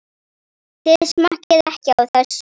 Þið smakkið ekki á þessu!